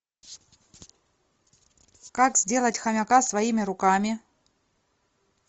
как сделать хомяка своими руками